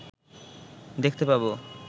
দেখতে পাব